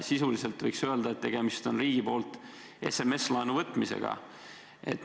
Sisuliselt võiks öelda, et tegemist on riigi poolt SMS-laenu võtmisega.